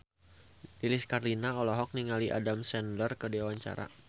Lilis Karlina olohok ningali Adam Sandler keur diwawancara